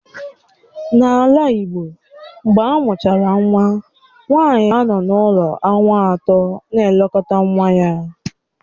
N'ala igbo, mgbe amụchara nwa nwanyi na-anọ n'ụlọ ọnwa atọ na-elekọta nwa ya